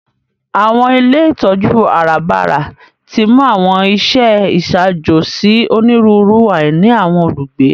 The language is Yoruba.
Àwọn ilé ìtójú àràbarà timú àwọn iṣẹ iṣaajo si oniruuru àìní àwọn olugbe.